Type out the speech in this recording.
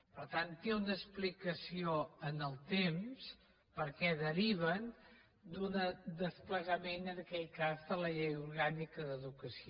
per tant té una explicació en el temps perquè deriven d’un desplegament en aquell cas de la llei orgànica d’educació